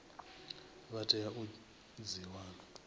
vha tea u dzi wana